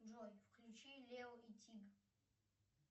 джой включи лео и тиг